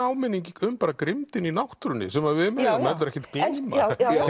áminning um grimmdina í náttúrunni sem við megum heldur ekkert gleyma